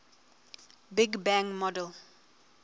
big bang model